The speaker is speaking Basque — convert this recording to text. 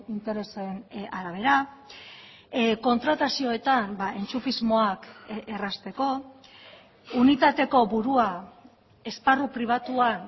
interesen arabera kontratazioetan entxufismoak errazteko unitateko burua esparru pribatuan